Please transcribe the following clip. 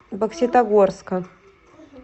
бокситогорска